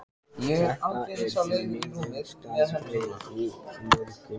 Þetta er því miður staðreynd í mörgum samböndum.